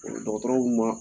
dɔgɔtɔrɔw ma